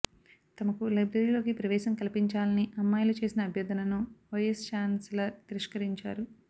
తమకు లైబ్రరీలోకి ప్రవేశం కల్పించాలని అమ్మాయిలు చేసిన అభ్యర్ధనను వైఎస్ చాన్సలర్ తిరష్కరించారు